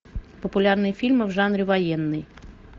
популярные фильмы в жанре военный